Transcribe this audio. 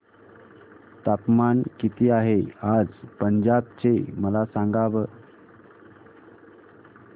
तापमान किती आहे आज पंजाब चे मला सांगा